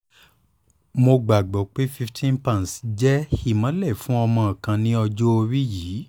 mo gbagbọ pe fifteen pounds jẹ imọlẹ fun ọmọ kan ni ọjọ ori yii